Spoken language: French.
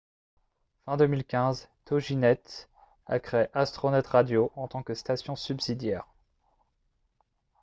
fin 2015 toginet a créé astronet radio en tant que station subsidiaire